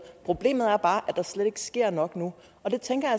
problemet er bare at der slet ikke sker nok nu og det tænker